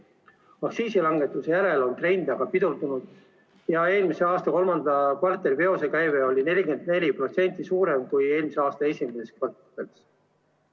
Aktsiisilangetuse järel on trend pidurdunud ja eelmise aasta kolmanda kvartali veosekäive oli 44% suurem kui eelmise aasta esimeses kvartalis.